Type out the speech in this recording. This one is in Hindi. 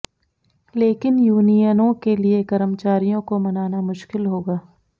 लेकिन यूनियनों के लिए कर्मचारियों को मनाना मुश्किल होगा